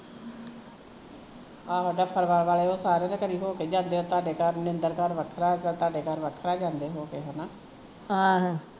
ਆਹੋ ਜਫਰਵਾਲ ਵਾਲੇ ਓਹ ਸਾਰਿਆ ਦੇ ਘਰੀ ਹੋ ਕੇ ਜਾਂਦੇ ਆ ਤਹਾਡੇ ਘਰ ਨਿੰਦਰ ਘਰ ਵੱਖਰਾ ਤਹਾਡੇ ਘਰ ਵੱਖਰਾ ਜਾਂਦੇ ਹੋ ਕੇ ਹੈਨਾ